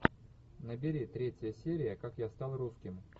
набери третья серия как я стал русским